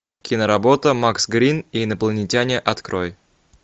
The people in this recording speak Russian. киноработа макс грин и инопланетяне открой